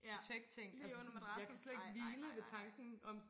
Ja lige under madrassen ej nej nej nej